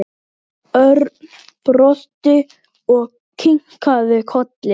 Örn brosti og kinkaði kolli.